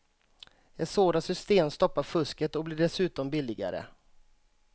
Ett sådant system stoppar fusket och blir dessutom billigare.